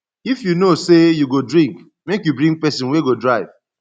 if you know sey you go drink make you bring pesin wey go drive